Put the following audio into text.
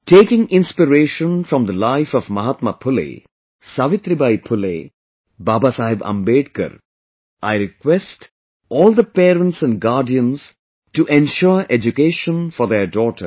Taking inspiration from the life of Mahatma Phule, Savitribai Phule, Babasaheb Ambedkar, I request all the parents and guardians to ensure education for their daughters